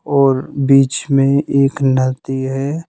और बीच में एक नदी है।